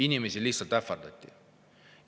Inimesi lihtsalt ähvardati.